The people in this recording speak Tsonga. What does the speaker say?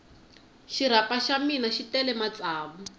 xirapha xa mina xi tele matsavu